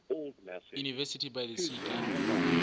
university by the sea ke